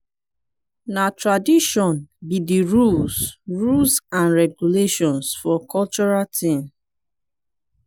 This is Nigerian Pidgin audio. na tradition be de rules rules and regulations for cultural thing.